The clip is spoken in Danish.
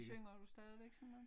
Synger du stadigvæk sådan noget